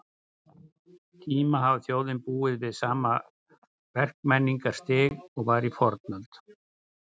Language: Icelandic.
tíma hafi þjóðin búið við sama verkmenningarstig og var í fornöld.